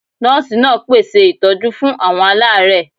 Nọ́ọ̀sì náà pé ṣe ìtọ́jú fún àwọn alaare